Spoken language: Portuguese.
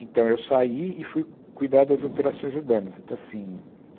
Então, eu saí e fui cuidar das operações urbanas então assim.